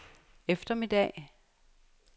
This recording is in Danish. eftermiddag